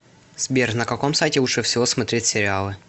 сбер на каком сайте лучше всего смотреть сериалы